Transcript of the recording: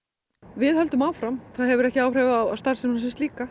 við höldum áfram það hefur ekki áhrif á starfsemina sem slíka